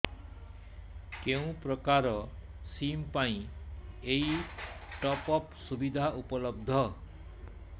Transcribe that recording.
କେଉଁ ପ୍ରକାର ସିମ୍ ପାଇଁ ଏଇ ଟପ୍ଅପ୍ ସୁବିଧା ଉପଲବ୍ଧ